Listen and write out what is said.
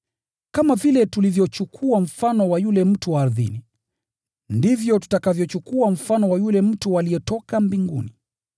Kama vile tulivyochukua mfano wa mtu wa ardhini, ndivyo tutakavyochukua mfano wa yule mtu aliyetoka mbinguni.